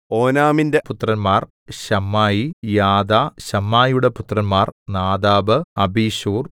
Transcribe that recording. ഓനാമിന്റെ പുത്രന്മാർ Shammai Jada ശമ്മായിയുടെ പുത്രന്മാർ നാദാബ് അബിശൂർ